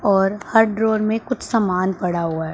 और हर ड्रॉवर में कुछ सामान पड़ा हुआ--